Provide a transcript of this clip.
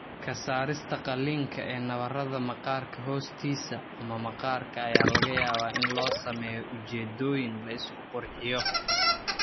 Ka saarista qaliinka ee nabarada maqaarka hoostiisa ama maqaarka ayaa laga yaabaa in loo sameeyo ujeeddooyin la isku qurxiyo.